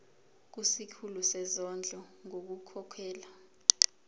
kusikhulu sezondlo ngokukhokhela